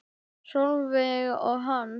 Sólveig og Hans.